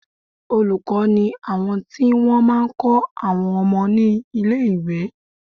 Olùkọ́ ni àwọn tí wọ́n máa ń kọ́ àwọn ọmọ ní ilé-ìwé